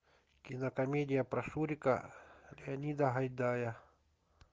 кинокомедия про шурика леонида гайдая